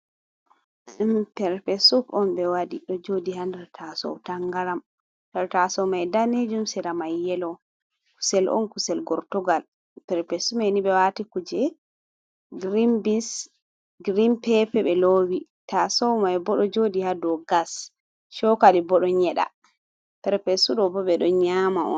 Pepesup on ɓe waɗi ɗo joɗi ha nder tasow tangaram tasow mai danejum sera mai yelo kusel on, kusel Gortugal pepesup mai ni ɓe wati kuje grin bins, grin pepe ɓe lowi tasow mai bo ɗo joɗi ha do gas chokali bo ɗon nyeda perpesu ɗo bo ɓe ɗon nyama on.